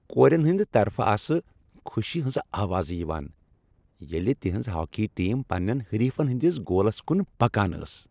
Korean ہٕندِ طرفہٕ آسہٕ خوشی ہٕنز آوازٕ یِوان ییلِہ تِہنٛز ہاکی ٹیم پننین حریفن ہٕندِس گولس کُن پکان ٲس ۔